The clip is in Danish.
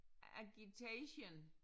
Agitation